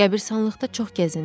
Qəbiristanlıqda çox gəzindim.